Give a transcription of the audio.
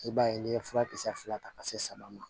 I b'a ye n'i ye furakisɛ fila ta ka se saba ma